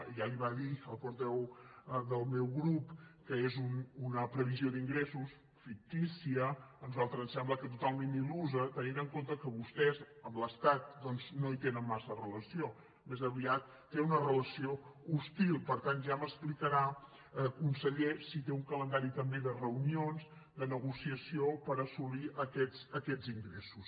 ja li ho va dir el portaveu del meu grup que és una previsió d’ingressos fictícia a nosaltres ens sembla que totalment il·lusa tenint en compte que vostès amb l’estat doncs no hi tenen massa relació més aviat tenen una relació hostil per tant ja m’explicarà conseller si té un calendari també de reunions de negociació per assolir aquests ingressos